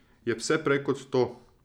Je vse prej kot to.